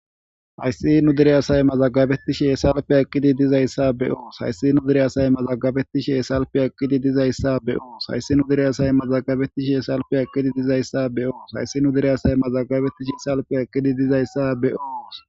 Hayssi nu dere asay mazagabettishe selifiya eqiddi dizayssa be'os. Hayssi nu dere asay mazagabettishe selifiya eqiddi dizayssa be'os. Hayssi nu dere asay mazagabettishe selifiya eqiddi dizayssa be'os. Hayssi nu dere asay mazagabettishe selifiya eqiddi dizayssa be'os.